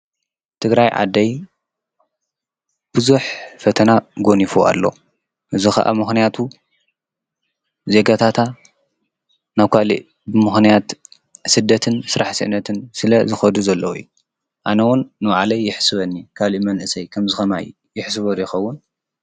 ትግራይ ዓደይ ብዙኅ ፈተና ጐኒፉ ኣሎ እዝ ኸዓ ምኽንያቱ ዜገታታ ናብ ኳልእ ብምኾንያት ስደትን ሥራሕ ስእነትን ስለ ዝኸዱ ዘለዊ ኣነውን ንዓለይ ይሕስበኒ ካልእ መንእሰይ ከም ዝኸማይ ይሕስበ ዶኸውን?